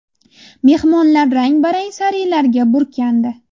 Mehmonlar rang-barang sarilarga burkandi.